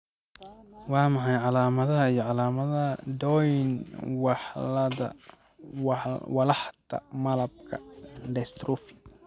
Waa maxay calamadaha iyo calamadaha Doyne walaxda malabka dystrophy?